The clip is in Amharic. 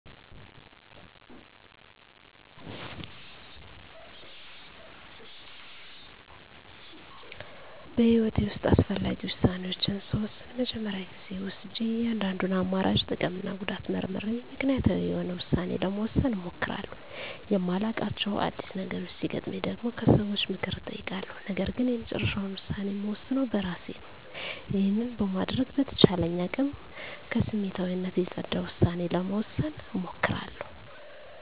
በህይወቴ ውስጥ አስፈላጊ ውሳኔዎችን ስወስን መጀመሪያ ጊዜ ወስጀ የእያንዳንዱን አማራጭ ጥቅምና ጉዳት መርምሬ ምክንያታዊ የሆነ ውሳኔ ለመወሰን እሞክራለሁ። የማላዉቃቸው አዲስ ነገሮች ሲገጥመኝ ደግሞ ከሰዎች ምክር እጠይቃለሁ ነገርግን የመጨረሻውን ውሳኔ እምወስነው በእራሴ ነው። ይህንን በማድረግ በተቻለኝ አቅም ከስሜታዊነት የፀዳ ዉሳኔ ለመወሰን እሞክራለሁ።